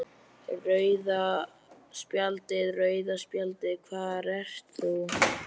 Rauða spjaldið, rauða spjaldið hvar ert þú?